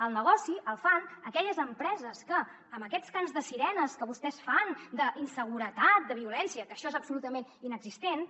el negoci el fan aquelles empreses que amb aquests cants de sirenes que vostès fan d’inseguretat de violència que això és absolutament inexistent